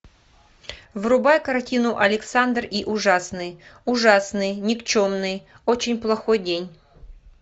врубай картину александр и ужасный ужасный никчемный очень плохой день